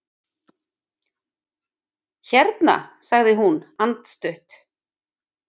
Hérna sagði hún andstutt.